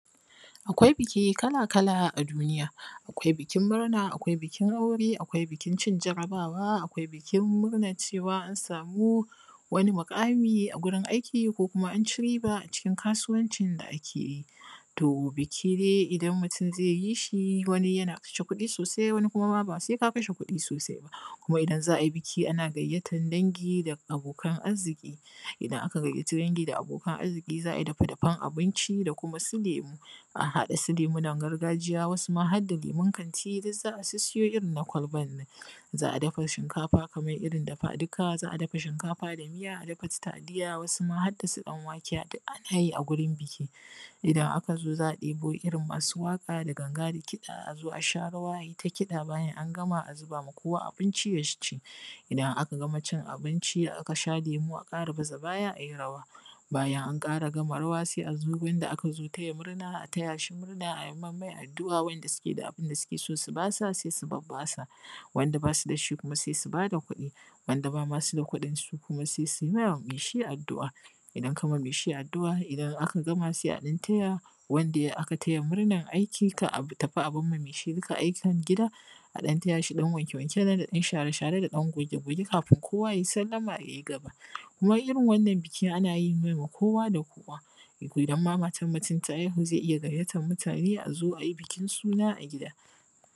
Akwai biki kala-kala a duniya. Akwai bikin murna, akwai bikin aure, akwai bikin murnar cin jarabawa, akwai bikin murna cewa an samuu wani muƙamii a wurin aiki, ko kuma an ʧi riibaa a ʧikin kaasuwancin da ake yi. To biki dai idan mutum zai yi shi, wani yana kashe kuɗi sosai, wani kuma ba sai ka kashe kuɗi sosai ba. zai yi shi, wani yana kashe kuɗi sosai, wani kuma ba sai ka kashe kuɗi sosai ba. Kumaa idan za a yi biki ana gayyatar dangi da abokan arziƙii. Idan aka gayyaci dangi da abokan arziƙi za a yi dafe-dafen abinci da kuma su lemu, a haɗa su lemunan gargajiya, wasu har da lemun kanti duk za a sissiyo irin na kwalban nan. Za a dafa shinkafa kamar irin dafaa-duka, za a dafa shinkafa da miya, a dafa su taliya wasu ma har da su ɗan-wake duk ana yi a wurin biki. Idan aka zo za a ɗebo irin masu waƙa da ganga na kiɗa a zo a sha rawa a yi ta kiɗa bayan an gama a zuba ma kowa abinci ya ci. Idan aka gama cin abinci aka sha lemu a ƙara baza baya a yi rawa. Bayan an ƙara gama rawa sai a zo wurin wanda aka zo taya murna a taya shi murna a yi mammai addu’a, waɗanda suke da abin da suke so su basa sai su babba sa, waɗanda ba su da shi kumaa sai su ba da kuɗi. Waɗanda ba ma su da kuɗin su kuma sai su ma mai shi addu’a. Idan ka ma mai shi addu’a, idan aka gama sai a ɗan taya wanda aka taya murnar aiki kar a tafi a bar ma mai shi duka aikin gida, a ɗan taya shi ɗan wanke-wanken nan da ɗan share-share da ɗan goge-goge kaafin kowa yayi sallama yayi gaba. Wai irin wannan biki ana yi ne ga kowa da kowa. Idan ma matar mutum ta haihu zai iya gayyatar mutane a zo a yi bikin suna a gida.